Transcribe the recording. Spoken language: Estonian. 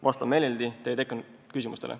Vastan meeleldi teie küsimustele.